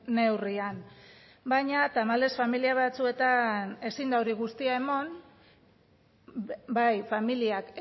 neurrian baina tamalez familia batzuetan ezin da hori guztia eman bai familiak